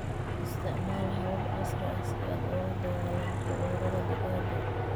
Isticmaal hababka casriga ah si aad ula dagaallanto cudurrada digaagga.